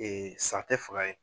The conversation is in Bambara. sa tɛ faga yen.